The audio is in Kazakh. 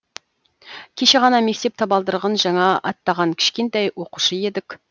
кеше ғана мектеп табалдырығын жаңа аттаған кішкентай оқушы едік